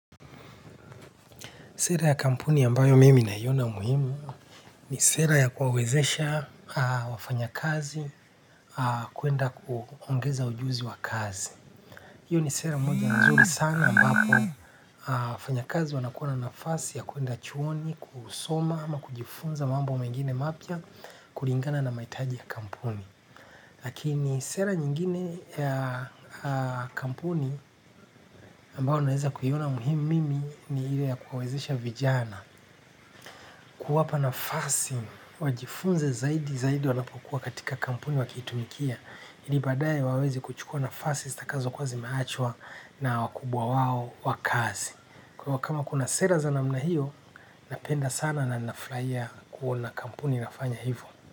Sera ya kampuni ambayo mimi naiona muhimu ni sera ya kuwawezesha wafanyakazi kwenda kuongeza ujuzi wa kazi. Hiyo ni sera mmoja nzuri sana ambapo wafanyakazi wanakuwa na fasi ya kwenda chuoni kusoma ama kujifunza mambo mengine mapya kulingana na mahitaji ya kampuni. Lakini sera nyingine ya kampuni ambayo naweza kuiona muhimu mimi ni ile ya kuwawezesha vijana kuwapa nafasi wajifunze zaidi zaidi wanapokuwa katika kampuni wakiitumikia. Ili baadaye wawezi kuchukua nafasi zitakazokuwa zimeachwa na wakubwa wao wa kazi. Kwa hivyo kama kuna sera za namna hiyo, napenda sana na ninafurahia kuona kampuni inafanya hivyo.